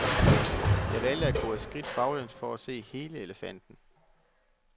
Jeg valgte at gå et skridt baglæns for at se hele elefanten.